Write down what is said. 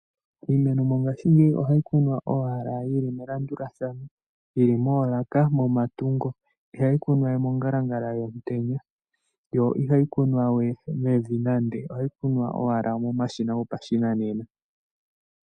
Iimeno mongashingeyi ohayi kunwa owala yili melandulathano, yili moolaka momatungo. Ihayi kunwa we mongalangala yomutenya, yo ihayi kunwa we mevi nande, ohayi kunwa ashike momashina gopashinanena.